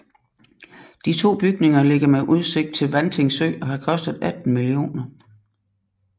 De to bygninger ligger med udsigt til Vanting Sø og har kostet 18 mio